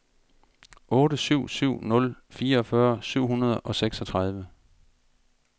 otte syv syv nul fireogfyrre syv hundrede og seksogtredive